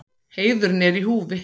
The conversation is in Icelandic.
Heiðurinn er í húfi.